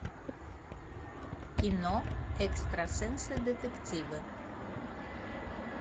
кино экстрасенсы детективы